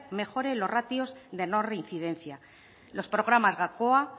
mejore los ratios de no reincidencia los programas gakoa